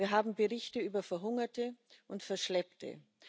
Wir haben Berichte über Verhungerte und Verschleppte.